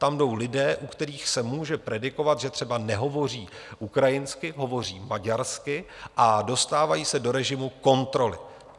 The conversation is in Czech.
Tam jdou lidé, u kterých se může predikovat, že třeba nehovoří ukrajinsky, hovoří maďarsky, a dostávají se do režimu kontroly.